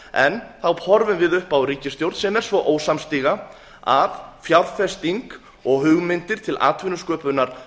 en þá horfum við upp á ríkisstjórn sem er svo ósamstiga að fjárfesting og hugmyndir til atvinnusköpunar